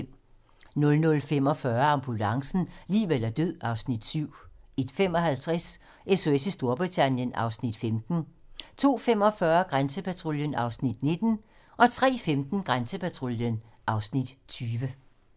00:45: Ambulancen - liv eller død (Afs. 7) 01:55: SOS i Storbritannien (Afs. 15) 02:45: Grænsepatruljen (Afs. 19) 03:15: Grænsepatruljen (Afs. 20)